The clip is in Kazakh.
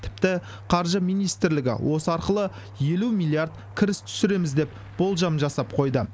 тіпті қаржы министрлігі осы арқылы елу миллиард кіріс түсіреміз деп болжам жасап қойды